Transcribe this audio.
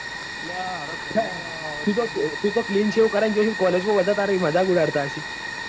તું તો કરી ને ગયો છે. માં બધા તારી મજાક ઉડાડતા હશે.